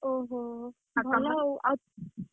ଓହୋ ଭଲ ଆଉ, ।